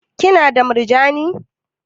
Ki na da murjani?